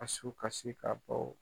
A su kasi ka